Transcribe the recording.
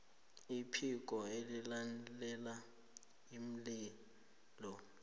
iphiko elilalela iinlilo